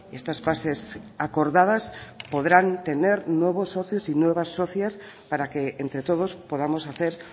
estas fases acordadas podrán tener nuevos socios y nuevas socias para que entre todos podamos hacer